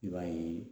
I b'a ye